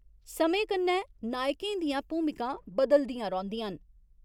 समें कन्नै नायकें दियां भूमिकां बदलदियां रौंह्दियां न।